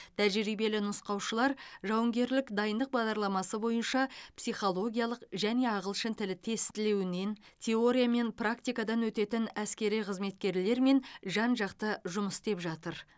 тәжірибелі нұсқаушылар жауынгерлік дайындық бағдарламасы бойынша психологиялық және ағылшын тілі тестілеуінен теория мен практикадан өтетін әскери қызметкерлермен жан жақты жұмыс істеп жатыр